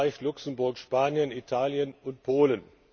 in Frankreich, Luxemburg, Spanien, Italien und Polen.